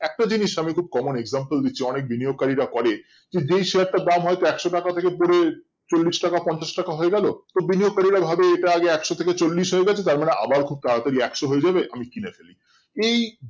একটা জিনিস আমি খুব common example দিচ্ছি অনেক বিনিয়োগ কারীরা করে যে Share টার দাম হয়তো একশো টাকা থেকে পরে চল্লিশ টাকা পঞ্চাশ টাকা হয়ে গেলো তো বিনিয়োগ কারীরা ভাবে এটা যে একশো থেকে চল্লিশ হয়েগেছে তো আমার আবার খুব তারা তারি একশো হয়েযাবে আমি কিনে ফেলি এই